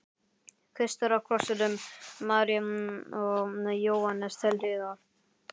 Kristur á krossinum, María og Jóhannes til hliðar.